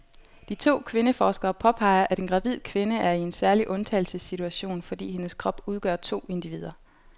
De to kvindeforskere påpeger, at en gravid kvinde er i en særlig undtagelsessituation, fordi hendes krop udgør to individer.